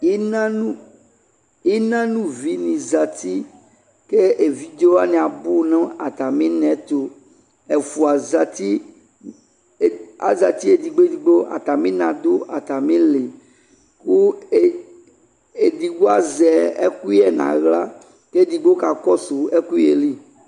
Ina no, ina no uvi ne zati ke evidze wane abu no atame nɛto Ɛfua zati, e azati edigbo edigbo, Atame na do atame ili ko e, edigbo azɛ ɛkuyɛ nahla ke edigbo ka kɔso ɛkuyɛ li